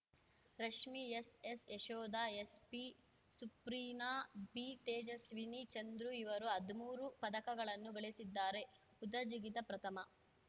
Rashmi S S Yashoda S P Supreena B Tejaswini Chandru ಇವರು ಹದ್ಮೂರು ಪದಕಗಳನ್ನು ಗಳಿಸಿದ್ದಾರೆ ಉದ್ದ ಜಿಗಿತ ಪ್ರಥಮ